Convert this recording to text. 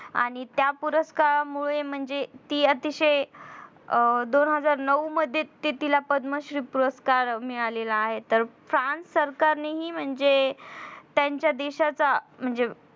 आणि त्या पुरस्कारामुळे म्हणजे ती अतिशय दोन हजार नऊ मध्ये ते तिला पद्मश्री पुरस्कार मिळाला आहे तर france सरकार ने हि म्हणजे त्यांचा देशाचा म्हणजे